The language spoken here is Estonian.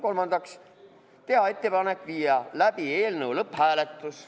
Kolmandaks, teha ettepanek viia läbi eelnõu lõpphääletus.